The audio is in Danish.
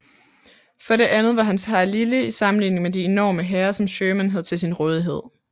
For det andet var hans hær lille i sammenligning med de enorme hære som Sherman havde til sin rådighed